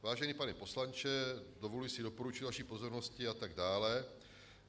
Vážený pane poslanče, dovoluji si doporučit vaší pozornosti... a tak dále.